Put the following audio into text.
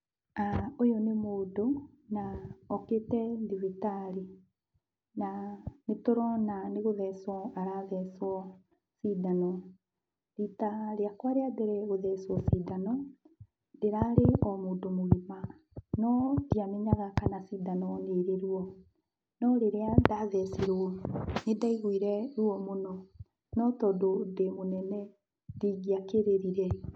Ũyũ nĩ mũndũ, na okĩte thibitarĩ na nĩtũrona nĩgũthecwo arathecwo cindano. Rita rĩakwa rĩa mbere gũthecwo cindano, ndĩrarĩ o mũndũ mũgima, no ndiamenyaga kana cindanio nĩrĩ ruo, no rĩrĩa ndathecirwo nĩndaiguire ruo mũno, no tondũ ndĩ mũnene ndingĩakĩrĩrire.